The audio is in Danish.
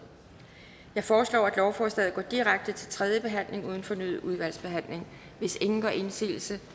jeg foreslår at lovforslaget går direkte til tredje behandling uden fornyet udvalgsbehandling hvis ingen gør indsigelse